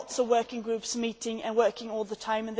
There are lots of working groups meeting and working all the time